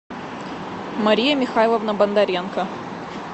мария михайловна бондаренко